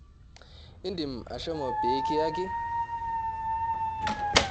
Indim ashomo pee kiyaki?